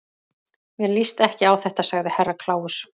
Mér líst ekki á þetta, sagði Herra Kláus.